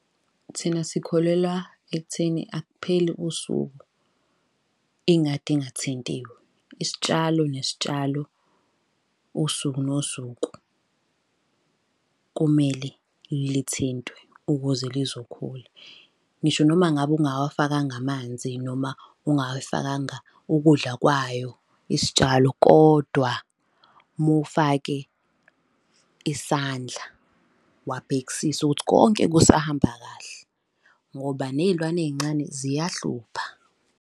Thina sikholelwa ekutheni akupheli usuku ingadi ingathintiwe. Isitshalo nesitshalo usuku nosuku kumele lithintwe ukuze lizokhula. Ngisho noma ngabe ungawafakanga amanzi noma ungayifakanga ukudla kwayo isitshalo, kodwa mufake isandla wabhekisisa ukuthi konke kusahamba kahle, ngoba ney'lwane ey'ncane ziyahlupha.